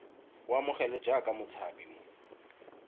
a amogelwe jaaka motshabi mo